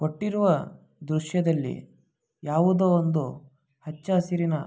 ಕೊಟ್ಟಿರುವ ದೃಶ್ಯದಲ್ಲಿ ಯಾವುದೋ ಒಂದು ಹಚ್ಚ ಹಸಿರಿನ--